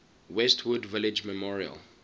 westwood village memorial